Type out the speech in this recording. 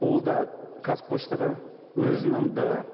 ол да қазпоштаға өзінің де